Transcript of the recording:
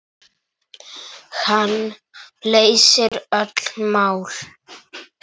Hann leysir öll mál.